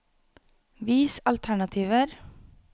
Vis alternativer